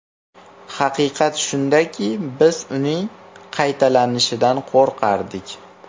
Haqiqat shundaki, biz uning qaytalanishidan qo‘rqardik.